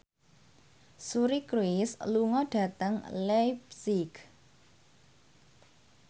Suri Cruise lunga dhateng leipzig